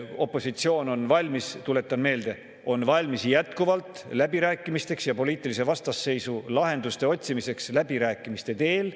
Opositsioon on jätkuvalt valmis, tuletan meelde, läbirääkimisteks ja poliitilisele vastasseisule lahenduste otsimiseks läbirääkimiste teel.